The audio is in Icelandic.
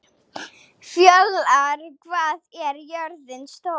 Fjólar, hvað er jörðin stór?